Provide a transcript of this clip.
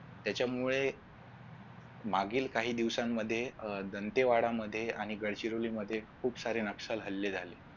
त्याच्यामुळे मागील काही दिवसांमध्ये अह जणतेवाडामध्ये आणि गडचिरोलीमध्ये खूप सारे नक्षल हल्ले झाले.